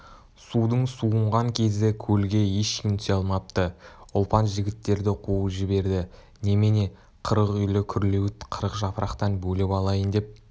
судың суынған кезі көлге ешкім түсе алмапты ұлпан жігіттерді қуып жіберді немене қырық үйлі күрлеуіт қырық жапырақтан бөліп алайын деп